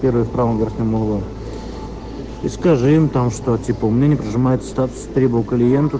первый в правом верхнем углу и скажи им там что типа у меня не прожимается статус требу клиенту